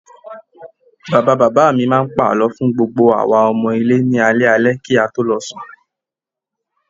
Bàbá bàbá mi máa ń pa àlọ́ fún gbogbo àwa ọmọ ilé ni alẹ́ alẹ́ kí a tó lọ sùn